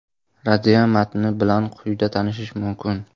Raddiya matni bilan quyida tanishish mumkin.